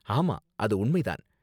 ஆமா, அது உண்மை தான்.